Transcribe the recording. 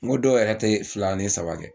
N ko dɔw yɛrɛ tɛ fila ni saba kɛ